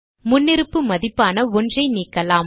முன்னிருப்பு மதிப்பான 1 ஐ நீக்கலாம்